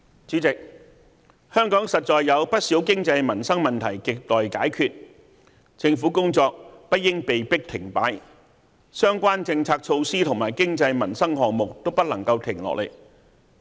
主席，香港實在有不少經濟民生問題亟待解決，政府工作不應被迫停擺，相關政策措施和經濟民生項目都不能停下來。